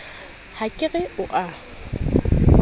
ha ke re o a